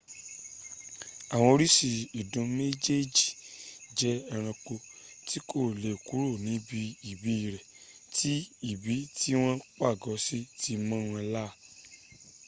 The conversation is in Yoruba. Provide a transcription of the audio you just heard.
àwọn oríṣi ìdun méjèèjì jẹ́ ẹ̀ranko tí kò lè kúrò ní ibi ìbí rẹ̀ tí ibi tí wọ́n pàgọ́ sí ti mọ́ wọn lár